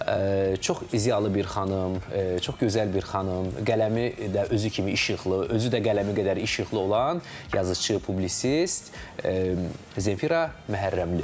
Çox ziyalı bir xanım, çox gözəl bir xanım, qələmi də özü kimi işıqlı, özü də qələmi qədər işıqlı olan yazışı, publisist Zemfira Məhərrəmli.